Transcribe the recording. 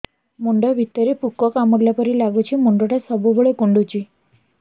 ମୁଣ୍ଡ ଭିତରେ ପୁକ କାମୁଡ଼ିଲା ପରି ଲାଗୁଛି ମୁଣ୍ଡ ଟା ସବୁବେଳେ କୁଣ୍ଡୁଚି